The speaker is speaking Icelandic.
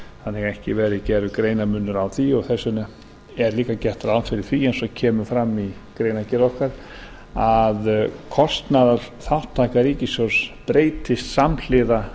þannig að ekki verði gerður greinarmunur á því og þess vegna er líka gert ráð fyrir því eins og kemur fram í greinargerð okkar að kostnaðarþátttaka ríkissjóðs breytist samhliða